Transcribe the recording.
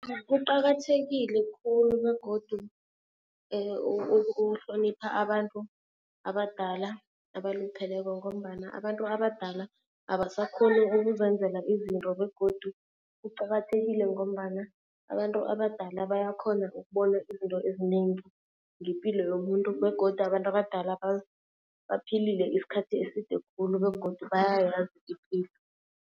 Kuqakathekile khulu begodu ukuhlonipha abantu abadala abalupheleko ngombana abantu abadala abasakhoni ukuzenzela izinto. Begodu kuqakathekile ngombana abantu abadala bayakhona ukubona izinto ezinengi ngepilo yomuntu. Begodu abantu abadala baphilile isikhathi eside khulu begodu bayayazi ipilo.